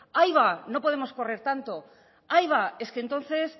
ahí va no podemos correr tanto ahí va es que entonces